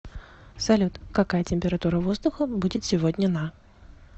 салют какая температура воздуха будет сегодня на